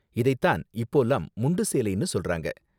இதை தான் இப்போலாம் முண்டு சேலைனு சொல்றாங்க.